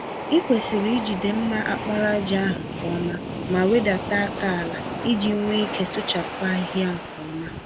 Ịkwesịrị ijide mma àkpàràjà ahụ nke ọma, ma wedata àkà àlà, iji nwee ike sụchapụ ahịhịa nke ọma.